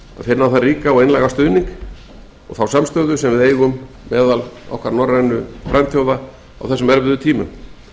finna þann ríka og einlæga stuðning sem við eigum meðal okkar norrænu frændþjóða á þessum erfiðu tímum